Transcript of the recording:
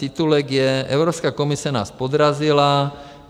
Titulek je: Evropská komise nás podrazila.